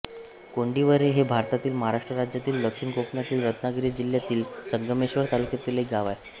कोंडिवरे हे भारतातील महाराष्ट्र राज्यातील दक्षिण कोकणातील रत्नागिरी जिल्ह्यातील संगमेश्वर तालुक्यातील एक गाव आहे